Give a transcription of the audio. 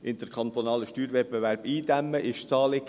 Den interkantonalen Steuerwettbewerb einzudämmen ist das Anliegen.